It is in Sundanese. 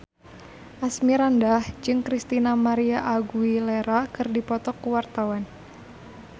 Asmirandah jeung Christina María Aguilera keur dipoto ku wartawan